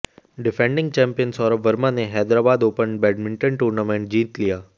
defending champion Saurabh Verma ने Hyderabad Open badminton tournament जीत लिया